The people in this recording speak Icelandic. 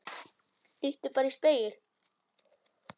Líttu bara í spegil.